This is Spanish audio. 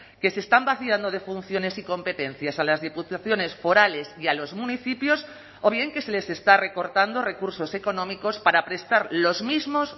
que se están vaciando de funciones y competencias a las diputaciones forales y a los municipios o bien que se les está recortando recursos económicos para prestar los mismos